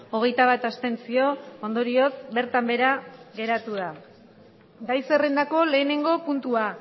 hogeita bat abstentzio ondorioz bertan behera geratu da gai zerrendako lehenengo puntua